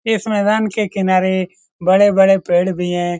इस मैदान के किनारे बड़े-बड़े पेड़ भी हैं।